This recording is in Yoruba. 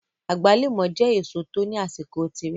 Agbalumo je eseo to ni asiko tire